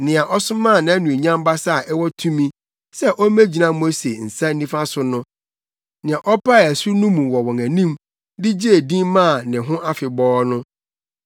nea ɔsomaa nʼanuonyam basa a ɛwɔ tumi sɛ ommegyina Mose nsa nifa so no, nea ɔpaee asu no mu wɔ wɔn anim, de gyee din maa ne ho afebɔɔ no,